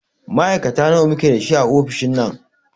Ma'aikata nawa muke da shi a ofishin nan?